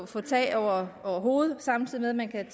få tag over hovedet samtidig med at man kan